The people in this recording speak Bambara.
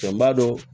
N b'a dɔn